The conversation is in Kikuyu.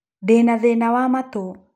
Ndĩ na thĩna wa matũ.